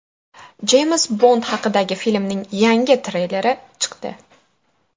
Jeyms Bond haqidagi filmning yangi treyleri chiqdi.